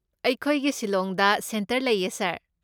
ꯑꯩꯈꯣꯏꯒꯤ ꯁꯤꯂꯣꯡꯗ ꯁꯦꯟꯇꯔ ꯂꯩꯌꯦ, ꯁꯥꯔ꯫